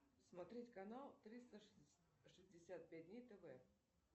смотреть канал триста шестьдесят пять дней тв